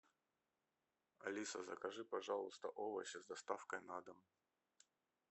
алиса закажи пожалуйста овощи с доставкой на дом